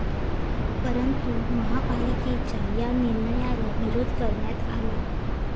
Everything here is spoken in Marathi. परंतु महापालिकेच्या या निर्णयाला विरोध करण्यात आला.